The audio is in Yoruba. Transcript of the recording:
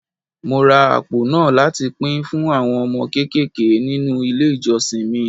Mo ra àpò náà láti pín fún àwọn ọmọ kéékèèké nínú ilé ìjọsìn mi.